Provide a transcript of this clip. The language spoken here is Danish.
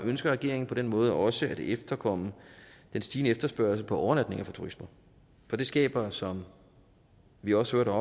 ønsker regeringen på den måde også at efterkomme den stigende efterspørgsel på overnatninger fra turisterne for det skaber som vi også